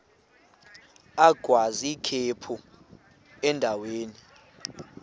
agwaz ikhephu endaweni